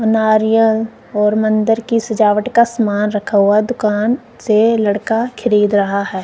नारियल और मंदिर की सजावट का समान रखा हुआ दुकान से लड़का खरीद रहा है।